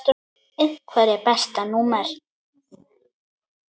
Einherji Besta númer?